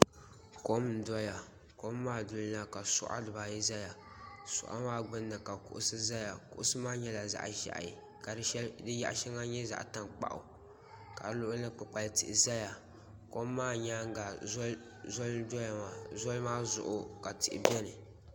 Kom n doya kom maa duli na ka suɣa si ba ayi zaya suɣa maa gbunni ka kuɣusi zaya kuɣusi maa nyɛla zaɣi zɛhi ka di yaɣi shɛŋa nyɛ zaɣi tankpaɣu ka si luɣuli ni kpukpali tihi zaya kom maa yɛanga zoli ndoya maa zoli maa zuɣu ka tihi bɛni.